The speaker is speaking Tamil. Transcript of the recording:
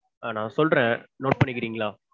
நா சொல்றேன் note பண்ணிக்கறீங்களா?